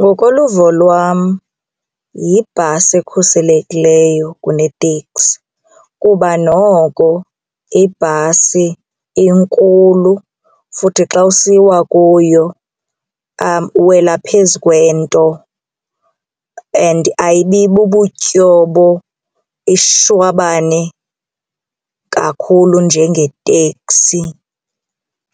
Ngokoluvo lwam yibhasi ekhuselekileyo kuneteksi kuba noko ibhasi inkulu futhi xa usiwa kuyo uwela phezu kwento and ayibi bubutyobo ishwabane kakhulu njengeteksi